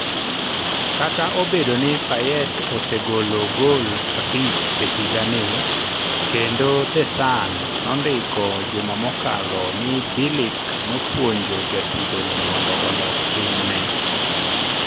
Kata obedo ni Payet osegolo goal abich e higani, kendo The Sun nondiko juma mokalo ni Bilic nopuonjo jatugono mondo olok timne.